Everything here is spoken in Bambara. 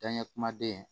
Danɲɛ kumaden